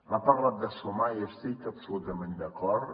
ha parlat de sumar i hi estic absolutament d’acord